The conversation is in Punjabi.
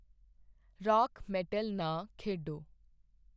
ਰਾਕ ਮੈਟਲ ਨਾ ਖੇਡੋ